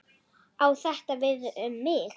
Á þetta við um þig?